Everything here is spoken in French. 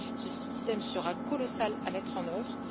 Ce système sera colossal à mettre en œuvre.